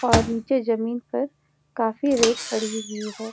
और नीचे जमीन पर काफी रेत पड़ी हुई है।